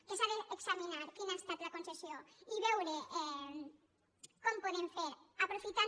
que s’ha d’examinar quina ha estat la concessió i veure com podem fer aprofitant